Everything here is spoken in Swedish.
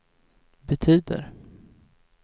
betyder